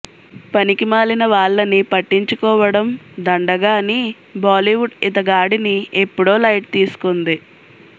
పనికిమాలిన వాళ్లని పట్టించుకోవడం దండగ అని బాలీవుడ్ ఇతగాడిని ఎప్పుడో లైట్ తీసుకుంది